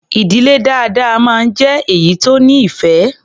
Ì̀dílé dáadáa máa ń jé èyí tó nífẹ̀ẹ́.